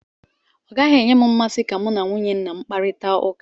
Ọ gaghị enye m mmasị ka mụ na nwunye nna m kparita ụka.